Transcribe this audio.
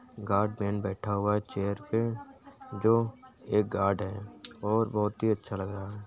Guardman बैठा हुआ है चेयर पे जो एक गार्ड है और बहुत ही अच्छा लग रहा है।